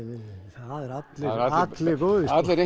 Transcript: það eru allir allir góðir allir